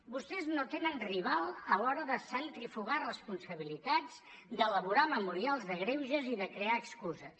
vostès no tenen rival a l’hora de centrifugar responsabilitats d’elaborar memorials de greuges i de crear excuses